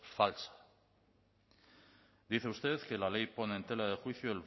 falsa dice usted que la ley pone en tela de juicio